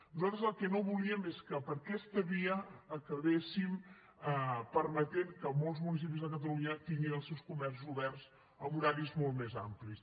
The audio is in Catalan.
nosaltres el que no volíem és que per aquesta via acabéssim permetent que molts municipis de catalunya tinguin els seus comerços oberts en horaris molt més amplis